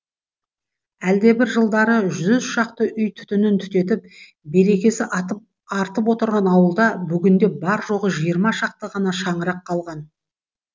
әлдебір жылдары жүз шақты үй түтінін түтетіп берекесі артып отырған ауылда бүгінде бар жоғы жиырма шақты ғана шаңырақ қалған